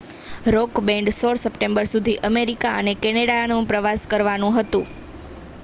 rock band 16 September સુધી America અને કેનેડાનો પ્રવાસ કરવાનું હતું